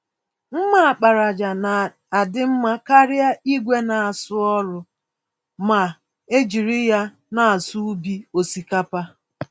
mma àkpàràjà ná adị mmá karịa ìgwè n'asụ ọrụ, ma ejiri ya n'asụ ubi osikapa.